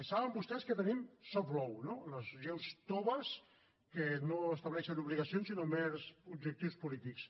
saben vostès que tenim law no les lleis toves que no estableixen obligacions sinó mers objectius polítics